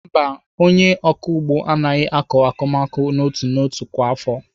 Mba, onye ọkụ ugbo ahụ aaghị akọ akụmakụ n'otu n'otu kwa afọ.